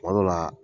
Kuma dɔ la